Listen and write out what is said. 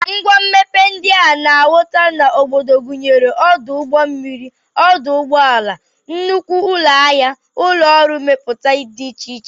Ngwa mmepe ndị a na-ahụta n'obodo gụnyere ọdụ ụgbọmmiri, ọdụ ụgbọala, nnukwu ụlọahịa, ụlọọrụ mmepụta dị iche iche